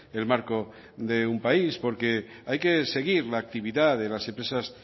el marco de un país porque hay que seguir la actividad de las empresas